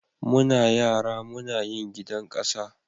Muna yara Muna yin gidan kasa.